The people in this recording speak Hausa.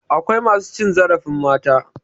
Akwai masu cin zarafin mata.